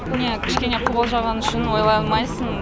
не кішкене қобалжығаны үшін ойлай алмайсын